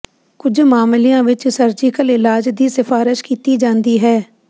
ਕੁਝ ਮਾਮਲਿਆਂ ਵਿੱਚ ਸਰਜੀਕਲ ਇਲਾਜ ਦੀ ਸਿਫਾਰਸ਼ ਕੀਤੀ ਜਾਂਦੀ ਹੈ